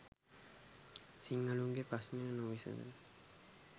සිංහලුන් ගේ ප්‍රශ්ණ නොවිසඳෙන